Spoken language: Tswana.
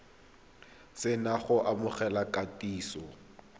se na go amogela kitsiso